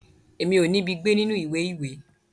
Èmi o nibi gbé nínú ìwé ìwé.